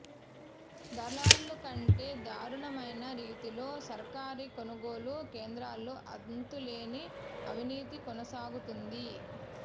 దళారుల కంటే దారుణమైన రీతిలో సర్కారీ కొనుగోలు కేంద్రాల్లో అంతు లేని అవినీతి కొనసాగుతోంది